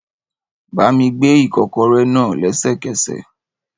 Bá mi gbé ikokore náà lẹ́sẹ̀kẹsẹ̀